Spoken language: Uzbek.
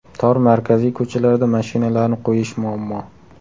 Tor markaziy ko‘chalarda mashinalarni qo‘yish muammo.